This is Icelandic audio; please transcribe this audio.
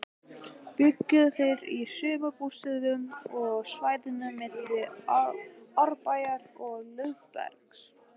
Bjuggu þeir í sumarbústöðum á svæðinu milli Árbæjar og Lögbergs.